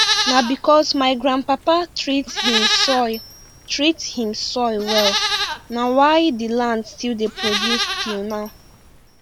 na because my grandpapa treat him soil treat him soil well na why the land still dey produce till now